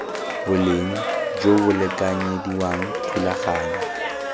boleng jo bo lekanyediwang thulaganyo